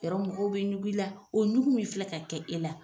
Yarɔ mɔgɔw bɛ ɲug'i la, o ɲugu min filɛ ka kɛ e la,